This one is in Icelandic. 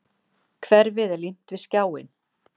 Hverfið er límt við skjáinn.